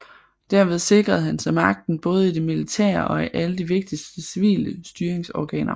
Derved sikrede han sig magten både i det militære og i alle de vigtigste civile styringsorganer